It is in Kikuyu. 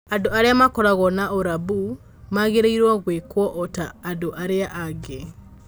andũ arĩa makoragwo na ũrambu magĩrĩirũo gwĩkwo o ta andũ arĩa angĩ